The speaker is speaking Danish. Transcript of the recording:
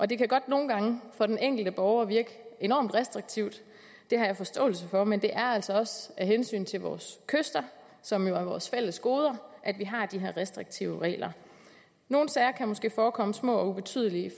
det kan godt nogle gange for den enkelte borger virke enormt restriktivt det har jeg forståelse for men det er altså også af hensyn til vores kyster som jo er vores fælles gode at vi har de her restriktive regler nogle sager kan måske forekomme små og ubetydelige i